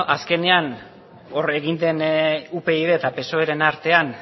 azkenean hor egin den upyd eta psoeren artean